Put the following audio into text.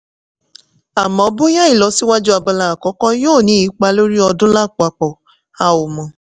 àmọ́ bóyá ìlọsíwájú abala àkọ́kọ́ yóò ní ipa lórí ọdún lápapọ̀ a ò mọ̀.